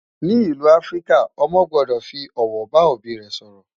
ní ìlú áfríkà, ọmọ gbódò fí òwò bá òbí sòrò